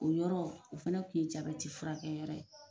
O yɔrɔ o fɛnɛ kun ye furakɛ yɔrɔ ye .